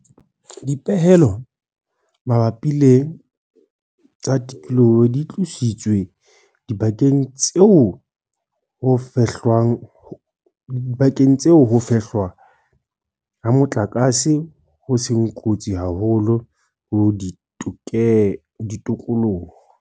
Dipehelo mabapi le tsa tikoloho di tlositswe dibakeng tseo ho fehlwa ha motlakase ho seng kotsi haholo ho tikoloho.